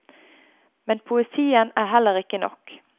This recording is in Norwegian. Men poesien er heller ikke nok.